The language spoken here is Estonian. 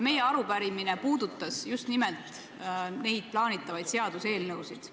Meie arupärimine puudutas just nimelt neid plaanitavaid seaduseelnõusid.